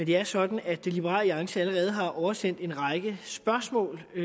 det er sådan at liberal alliance allerede har oversendt en række spørgsmål